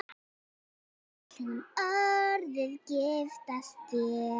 Vill hún orðið giftast þér?